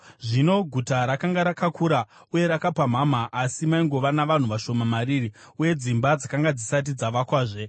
Zvino guta rakanga rakakura uye rakapamhama asi maingova navanhu vashoma mariri, uye dzimba dzakanga dzisati dzavakwazve.